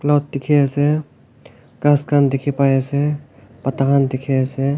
not dekhe ase khass khan dekhe pai ase pata khan dekhe pai ase.